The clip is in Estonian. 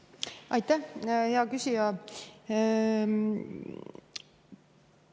Aitäh, hea küsija!